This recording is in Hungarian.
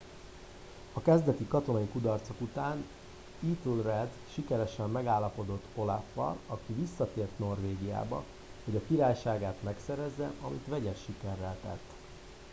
a kezdeti katonai kudarcok után ethelred sikeresen megállapodott olaf al aki visszatért norvégiába hogy a királyságát megszerezze amit vegyes sikerrel tett